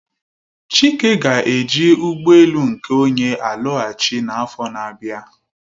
Chike ga-eji ụgbọ elu nke onwe alọghachi n'afọ n'abia.